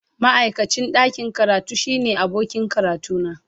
Ma'aikacin ɗakin karatu shine abokin karatuna.